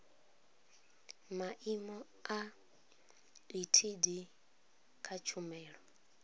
maimo a etd kha tshumelo